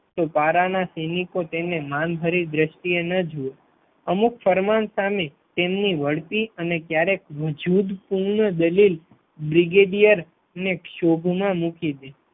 તો પારાના સૈનિકો તેને માનભરી દ્રષ્ટિએ ન જુએ અમુક ફરમાન સામે તેમની વળતી અને ક્યારેક જુદ પૂર્ણ દલીલ બ્રિગેડિયર અને શોભમાં મૂકી દે